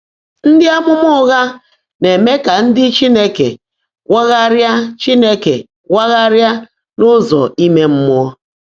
Ndị́ ámụ́má ụ́ghá ná-èmé kà ndị́ Chínekè wágháàrị́á Chínekè wágháàrị́á n’ụ́zọ́ íme mmụọ́.